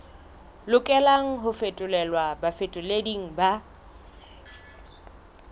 lokelang ho fetolelwa bafetoleding ba